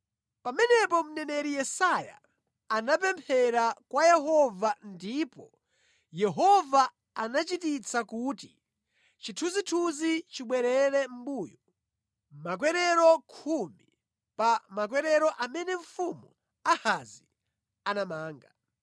Pamenepo mneneri Yesaya anapemphera kwa Yehova ndipo Yehova anachititsa kuti chithunzithunzi chibwerere mʼmbuyo makwerero khumi pa makwerero amene mfumu Ahazi anamanga.